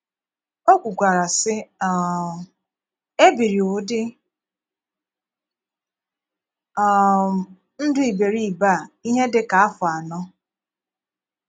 O kwukwara, sị um, “É biri ụdị̀ um ndụ iberiibe a ihe dị ka áfọ anọ. ”